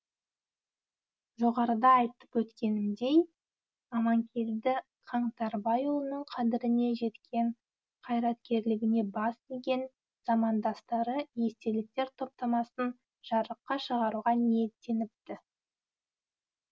жоғарыда айтып өткенімдей аманкелді қаңтарбайұлының қадіріне жеткен қайраткерлігіне бас иген замандастары естеліктер топтамасын жарыққа шығаруға ниеттеніпті